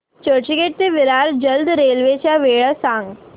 चर्चगेट ते विरार जलद रेल्वे च्या वेळा सांगा